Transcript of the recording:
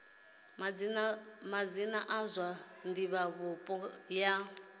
madzina a zwa divhavhupo ya